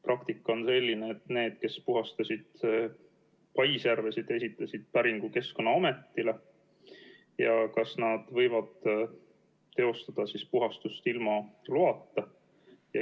Praktika on selline, et need, kes puhastasid paisjärvesid, esitasid päringu Keskkonnaametile ja küsisid, kas nad võivad teostada puhastust ilma loata.